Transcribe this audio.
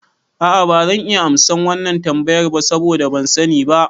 A'a bazan iya amsa wannan tambayar ba saboda ban sani ba